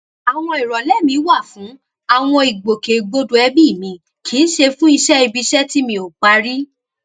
àwọn ìrọlẹ mi wà fún àwọn ìgbòkègbodò ẹbí mi kì í ṣe fún iṣé ibi iṣẹ tí mi ò parí